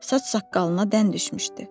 Saç-saqqalına dən düşmüşdü.